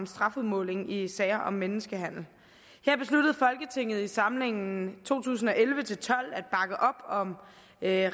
strafudmåling i sager om menneskehandel her besluttede folketinget i samlingen to tusind og elleve til tolv at